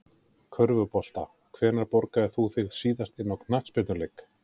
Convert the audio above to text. Körfubolta Hvenær borgaðir þú þig síðast inn á knattspyrnuleik?